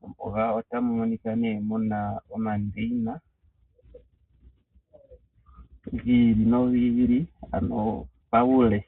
Mombuga otamu monika mu na omandeina gi ili nogi ili, ano paule.